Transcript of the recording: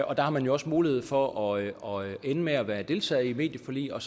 og der har man jo også mulighed for at ende med at være deltager i et medieforlig og